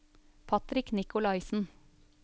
Patrick Nikolaisen